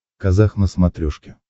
казах на смотрешке